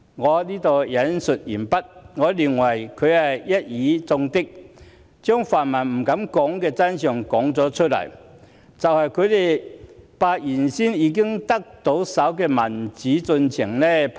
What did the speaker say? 我認為他一語中的，把泛民不敢說的真相說了出來，就是他們把已經到手的民主進程拋棄了。